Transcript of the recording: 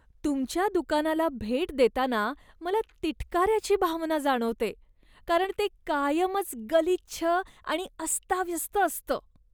तुमच्या दुकानाला भेट देताना मला तिटकाऱ्याची भावना जाणवते, कारण ते कायमच गलिच्छ आणि अस्ताव्यस्त असतं.